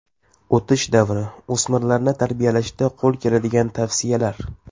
O‘tish davri: O‘smirlarni tarbiyalashda qo‘l keladigan tavsiyalar.